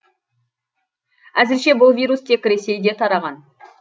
әзірше бұл вирус тек ресейде тараған